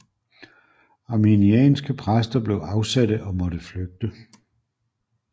Arminianske præster blev afsatte og måtte flygte